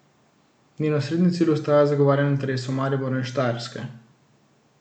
Njen osrednji cilj ostaja zagovarjanje interesov Maribora in Štajerske.